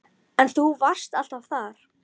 En þú varst alltaf þar.